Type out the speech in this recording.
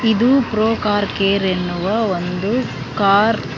ಇದು pro car care ಎನ್ನುವ ಒಂದು ಕಾರ್ --